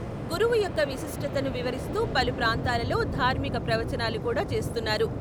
గురువు యొక్క విశిష్టతను వివరిస్తూ పలు ప్రాంతాలలో ధార్మిక ప్రవచనాలు కూడా చేస్తున్నారు.